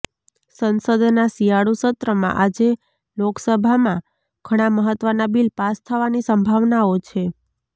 સંસદના શિયાળુસત્રમાં આજે લોકસભામાં ઘણા મહત્વના બિલ પાસ થવાની સંભાવનાઓ છે